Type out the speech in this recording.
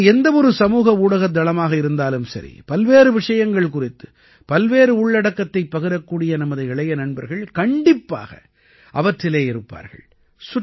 அது எந்த ஒரு சமூக ஊடகத் தளமாக இருந்தாலும் சரி பல்வேறு விஷயங்கள் குறித்து பல்வேறு உள்ளடக்கத்தை பகிரக்கூடிய நமது இளைய நண்பர்கள் கண்டிப்பாக அவற்றிலே இருப்பார்கள்